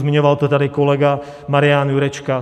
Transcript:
Zmiňoval to tady kolega Marian Jurečka.